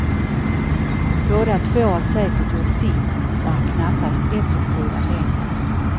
Båda två har säkert gjort sitt, och är knappast effektiva längre.